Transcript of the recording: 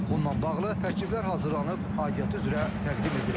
Bununla bağlı təkliflər hazırlanıb, aidiyyatı üzrə təqdim edilib.